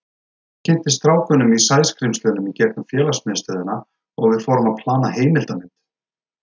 Ég kynntist strákunum í Sæskrímslunum í gegnum félagsmiðstöðina og við fórum að plana heimildarmynd.